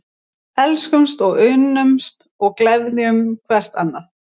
Elskumst og unnumst og gleðjum hvert annað.